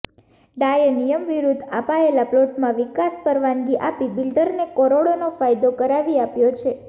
ડાએ નિયમ વિરૂદ્ધ અપાયેલા પ્લોટમાં વિકાસ પરવાનગી આપી બિલ્ડરને કરોડોનો ફાયદો કરાવી આપ્યો છે